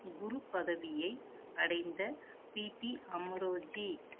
குரு பதவியை அடைந்த பிபி அமரோஜி